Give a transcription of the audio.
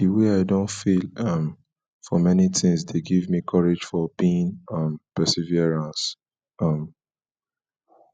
di wey i don fail um for many tings dey give me courage for being um perseverance um